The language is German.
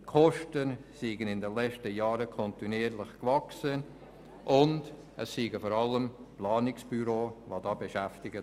Die Kosten seien in den letzten Jahren kontinuierlich gewachsen und dort würden vor allem Planungsbüros beschäftigt.